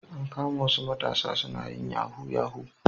An kama wasu matasa suna yin yahu yahu